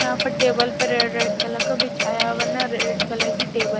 यहाँ पर टेबल पर रे रेड कलर का भी छाया हुना रेड कलर कि टेबल --